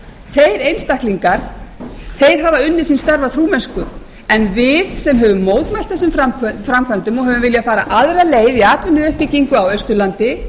ábótavant þeir einstaklingar hafa unnið sín störf af trúmennsku en við sem höfum mótmælt þessum framkvæmdum og höfum viljað fara aðra leið í atvinnuuppbyggingu á austurlandi